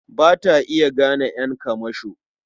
Ba ta iya gane ƴan kamasho.